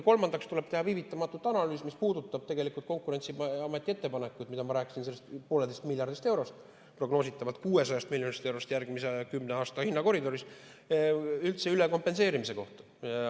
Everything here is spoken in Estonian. Kolmandaks tuleb teha viivitamatult analüüs, mis puudutab Konkurentsiameti ettepanekuid ja üldse ülekompenseerimist.